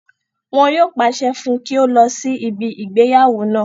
Wọn yóò pàṣẹ fún un kí ó lọ sí ibi ìgbéyàwó náà